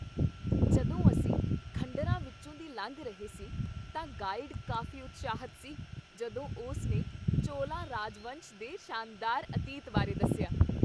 ਜਦੋਂ ਅਸੀਂ ਖੰਡਰਾਂ ਵਿੱਚੋਂ ਦੀ ਲੰਘ ਰਹੇ ਸੀ ਤਾਂ ਗਾਈਡ ਕਾਫ਼ੀ ਉਤਸ਼ਾਹਿਤ ਸੀ ਜਦੋਂ ਉਸ ਨੇ ਚੋਲਾ ਰਾਜਵੰਸ਼ ਦੇ ਸ਼ਾਨਦਾਰ ਅਤੀਤ ਬਾਰੇ ਦੱਸਿਆ।